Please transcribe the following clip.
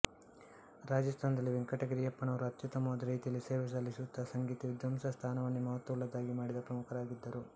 ರಾಜಸ್ಥಾನದಲ್ಲಿ ವೆಂಕಟಗಿರಿಯಪ್ಪನವರು ಅತ್ಯುತ್ತಮವಾದ ರೀತಿಯಲ್ಲಿ ಸೇವೆ ಸಲ್ಲಿಸುತ್ತಾ ಸಂಗೀತ ವಿದ್ವಾಂಸರ ಸ್ಥಾನವನ್ನೇ ಮಹತ್ವ ಉಳ್ಳದ್ದಾಗಿ ಮಾಡಿದ ಪ್ರಮುಖರಾಗಿದ್ದರು